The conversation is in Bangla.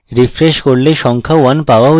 refresh করলে সংখ্যা 1 পাওয়া উচিত